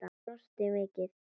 Brosti mikið.